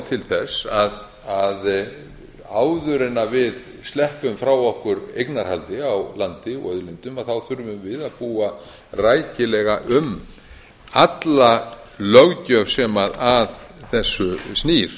til þess að áður en við sleppum frá okkur eignarhaldi á landi og auðlindum þá þurfum við að búa rækilega um alla löggjöf sem að þessu snýr